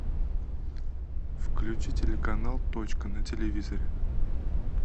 включи телеканал точка на телевизоре